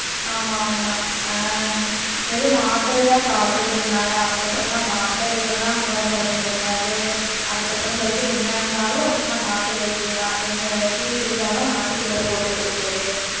ஆமா ஆமா ஆஹ் வெறும் மாத்திரையா சாப்ட்டுட்டு இருந்தாங்க, அதுக்கு அப்புறம் தான் மாத்திரைலயெல்லாம் குணப்படுத்த முடியாது, அதுக்கப்புறம் சொல்லிட்டு என்ன இருந்தாலும் சும்மா நாட்டு வைத்தியமா, எங்க டீ குடிச்சாலும் நாட்டு sugar போட்டு குடிக்கறது,